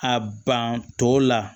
A ban tɔw la